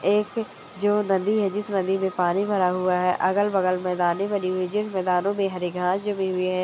एक जो नदी हे जिस नदी मे पानी भरा हुआ हे अगल बगल मैदाने बनी हुई हे जिस मैदानों मे हरी घास जमी हुई हे ।